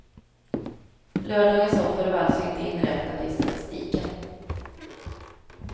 Lördagens offer var alltså inte inräknade i statistiken.